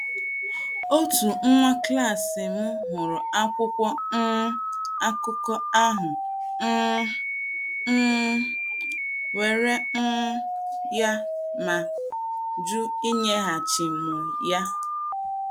Otu nwa klas m hụrụ́ akwụkwọ um akụkọ ahụ, um, um were um ya ,mà jụ́ inyeghachi m ya.